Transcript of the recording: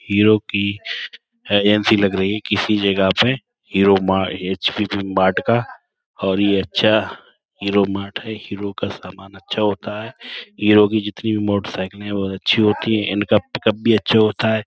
Hero की agency लग रही है किसी जगह पे। हीरो मार्ट का और ये अच्छा हीरो मार्ट है। हीरो का सामान अच्छा होता है। हीरो की जितनी भी मोटरसाइकिलें हैं बोत अच्छी होती है। इनका पिकअप भी अच्छा होता है।